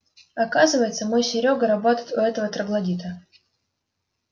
оказывается мой серёга работает у этого троглодита